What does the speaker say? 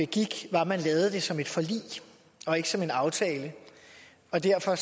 begik var at man lavede det som et forlig og ikke som en aftale derfor